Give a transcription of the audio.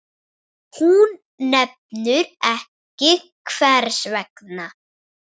Hún nefnir ekki hvers vegna.